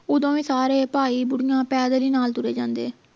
ਓਦੋਂ ਵੀ ਸਾਰੇ ਭਾਈ ਬੁੜੀਆਂ ਪੈਦਲ ਹੀ ਨਾਲ ਤੁਰੇ ਜਾਂਦੇ